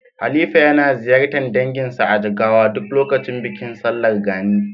Halifa yana ziyartar danginsa a Jigawa duk lokacin bikin sallar Gani.